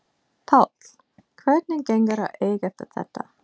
Páll: Hvernig gengur að eiga við þetta?